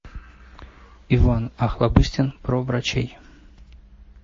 иван охлобыстин про врачей